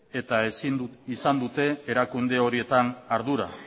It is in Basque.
eta ezin izan dute erakunde horietan ardura